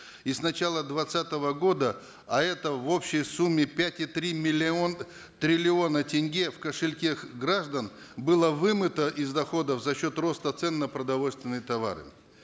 и с начала двадцатого года а это в общей сумме пять и три миллион триллиона тенге в кошельке граждан было вымыто из доходов за счет роста цен на продовольственные товары